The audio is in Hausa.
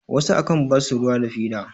wasu a kan basu ruwa da fida